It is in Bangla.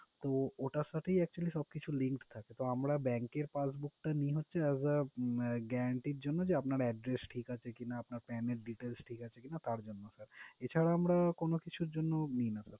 তো ওটার সাথেই actually সবকিছু linked থাকে তো আমরা bank এর passbook টা নি হচ্ছে as a guarante এর জন্য যে আপনার address ঠিক আছে কিনা আপনার pan এর details ঠিক আছে কিনা তারজন্য এছাড়া আমরা কোনোকিছুর জন্য নি না।